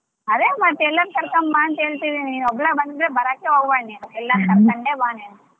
ಅರೆ ಮತ್ತೆ ಎಲ್ಲಾರ್ನು ಕರ್ಕೊಂಡ್ ಬಾ ಅಂತ ಹೇಳ್ತಿದೀನಿ ನೀ ಒಬ್ಳೆ ಬಂದ್ರೆ ಬರಾಕೆ ಹೋಗಬೇಡ ನೀನು ಎಲ್ಲರ ಕರಕೊಂಡೆ ಬಾ ನೀನು.